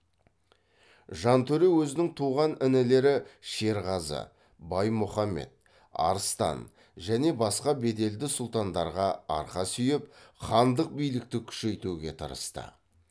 жантөре өзінің туған інілері шерғазы баймұхамед арыстан және басқа беделді сұлтандарға арқа сүйеп хандық билікті күшейтуге тырысты